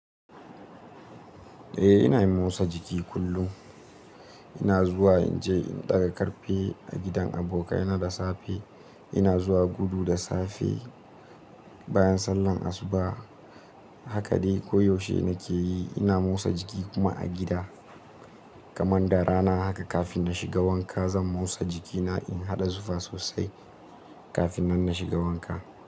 Eh ina yin motsa jiki kullum. Ina zuwa in je in ɗaga ƙarfe a gidan abokai na da safe. Ina zuwa gudu da safe bayan sallan asuba. Haka dai koyaushe nake yi. Ina motsa jiki kuma a gida. Kaman da rana haka kafin na shiga wanka zan motsa jikina in haɗa zufa sosai kafin nan na shiga wanka.